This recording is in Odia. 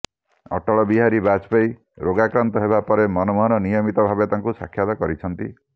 ଅଟଳ ବିହାରୀ ବାଜପେୟୀ ରୋଗାକ୍ରାନ୍ତ ହେବା ପରେ ମନମୋହନ ନିୟମିତ ଭାବେ ତାଙ୍କୁ ସାକ୍ଷାତ କରିଛନ୍ତି